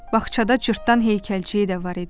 Bağçada cırtdan heykəlciyi də var idi.